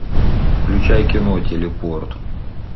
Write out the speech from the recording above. включай кино телепорт